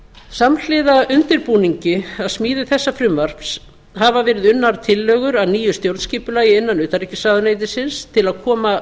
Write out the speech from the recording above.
samhliða undirbúningi að smíði þessa frumvarps hafa verið unnar tillögur að nýju stjórnskipulagi innan utanríkisráðuneytisins til að koma